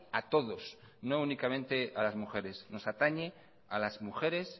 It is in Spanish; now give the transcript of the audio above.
a todos no únicamente a las mujeres nos atañe a las mujeres